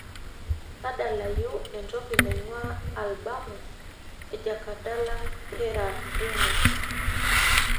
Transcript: tadalayu entoki naing'uaa albumu ee jakadala hera remo